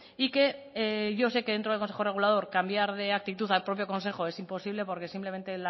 y que yo sé que dentro del consejo regulador cambiar de actitud al propio consejo es imposible porque simplemente